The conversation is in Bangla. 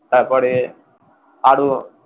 তারপরে আরো যারা,